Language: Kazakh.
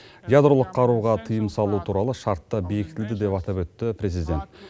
ядролық қаруға тыйым салу туралы шарт та бекітілді деп атап өтті президент